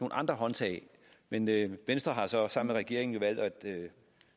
andre håndtag men venstre har så som regering valgt at